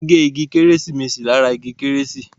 Wón gé ìgi Kérésìmesì lára ìgi kérésì.